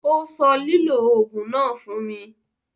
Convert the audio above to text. Ó sọ lílò òògùn náà fún mi.